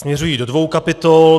Směřují do dvou kapitol.